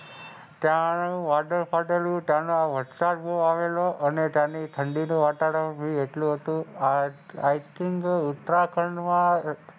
ત્યાંનું વાદળ ફાટેલું ત્યાંનો વરસાદ આવેલો અને તેની ઠંડી નું વાતાવરણ બી એટલું હતું i think ઉત્તરાખંડ માં,